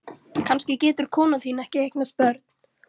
Kannski getur konan þín ekki eignast börn.